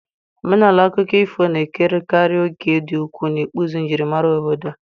Omenala akụkọ ifo na-ekerekarị òkè dị ukwuu n'ịkpụzi njirimara obodo.